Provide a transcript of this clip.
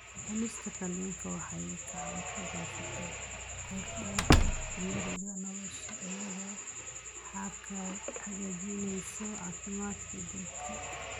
Cunista kalluunka waxay gacan ka geysataa kordhinta cimriga nolosha iyadoo hagaajinaysa caafimaadka guud.